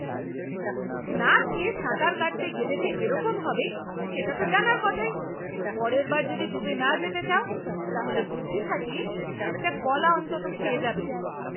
না খেয়ে সাঁতার কাটতে গেলে যে এরকম হবে, সেটা তো জানা কথাই। পরের বার যদি ডুবে না যেতে চাও তাহলে বুদ্ধি খাটিয়ে একটা কলা অন্তত খেয়ে যাবে।